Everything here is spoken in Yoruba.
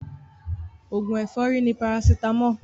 Oògùn ẹ̀fọ́rì ni paracetamol